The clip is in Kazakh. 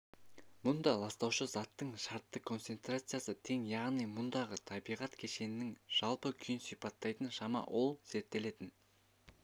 мұнда ластаушы заттың шартты концентрациясы тең яғни мұндағы табиғат кешенінің жалпы күйін сипаттайтын шама ол зерттелетін